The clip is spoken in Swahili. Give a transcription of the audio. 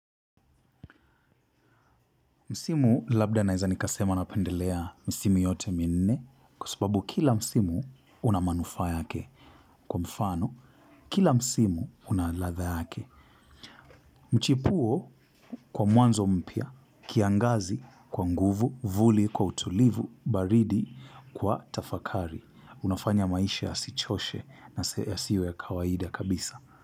Msimu labda naweza nikasema napendelea misimu yote minne. Kwa sababu kila msimu una manufaa yake. Kwa mfano, kila msimu una ladha yake. Mchipuo kwa mwanzo mpya kiangazi kwa nguvu, vuli, kwa utulivu, baridi kwa tafakari unafanya maisha yasichoshe na yasiwe ya kawaida kabisa.